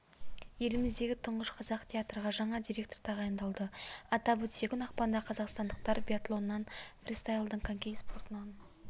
еліміздегі тұңғыш қазақ театрға жаңа директор тағайындалды атап өтсек бүгін ақпанда қазақстандықтар биатлоннан фристайлдан коньки спортынан